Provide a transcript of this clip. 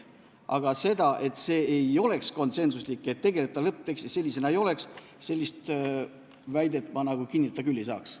Aga sellist väidet, et see ei olnud konsensuslik otsus ja et ta lõpptekstis sellisena ei oleks, ma küll kinnitada ei saa.